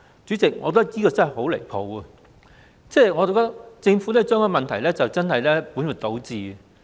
主席，我覺得這真的很離譜，政府把問題本末倒置。